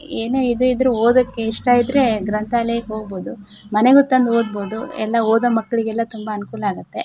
ಏನೆ ಇದು ಇದ್ರೆ ಓದಕ್ಕೆ ಇಷ್ಟ ಇದ್ರೆ ಗ್ರಂತಾಲಯಕ್ಕೆ ಹೋಗಬಹುದು. ಮನೆಗೂ ತಂದು ಓದಬಹುದು. ಎಲ್ಲಾ ಓದೋ ಮಕ್ಕಳಿಗೆಲ್ಲಾ ತುಂಬಾ ಅನುಕೂಲ ಆಗುತ್ತೆ .